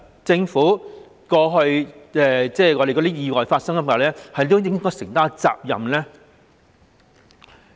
政府是否應該對過去發生意外承擔責任呢？